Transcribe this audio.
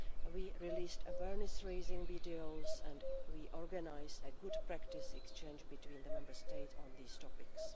We have released awareness raising videos and we organised a good practice exchange between the Member States on these topics.